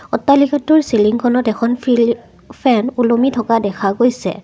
অট্টালিকাটোৰ চিলিংখনত এখন ফিল ফেন ওলমি থকা দেখা গৈছে।